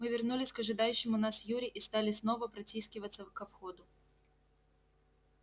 мы вернулись к ожидающему нас юре и стали снова протискиваться ко входу